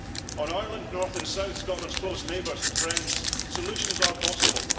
On Ireland, north and south, Scotland's close neighbours and friends, solutions are possible